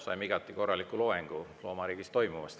Saime igati korraliku loengu loomariigis toimuvast.